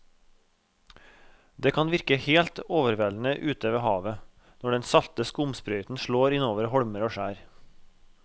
Det kan virke helt overveldende ute ved havet når den salte skumsprøyten slår innover holmer og skjær.